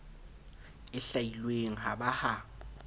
e hlwailweng ha ba ha